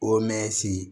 O mɛnsi